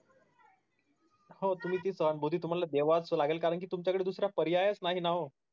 हो तुम्ही ती सहानभूती तुम्हाला द्यावीच लागेन कि तुमच्या कडे दुसरा पर्याय नाही ना ओ